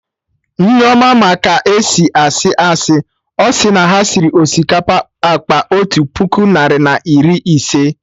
Nneoma ma ka esi asị asị, ọsị na ha sịrị osikapa akpa otu puku narị na iri ise